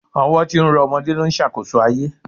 Ọwọ́ tí ń rọ ọmọdé ló ń ṣàkóso ayé